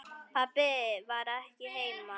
Pabbi var ekki heima.